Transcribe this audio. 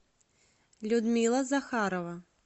людмила захарова